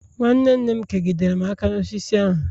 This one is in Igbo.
nwanne nne m kegidere m aka n'osisi ahu